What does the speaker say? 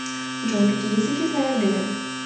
джой какие языки знает греф